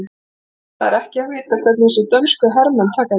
Það er ekki að vita hvernig þessir dönsku herramenn taka því.